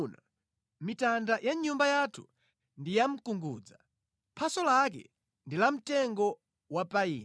Mitanda ya nyumba yathu ndi ya mkungudza, phaso lake ndi la mtengo wa payini.